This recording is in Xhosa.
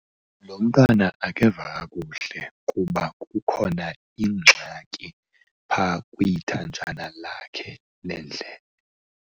Lo mntana akeva kakuhle kuba kuhkona ingxaki phaa kwithanjana lakhe lendlebe.